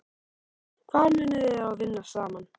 Hvar munu þeir þá vinna saman?